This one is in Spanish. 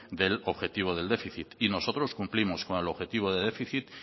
del objetivo del déficit y nosotros cumplimos con el objetivo de déficit